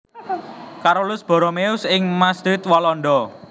Carolus Borromeus ing Maastricht Walanda